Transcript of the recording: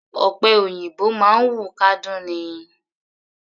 Ọ̀pẹ òyìnbó máa ń wù kádún ni.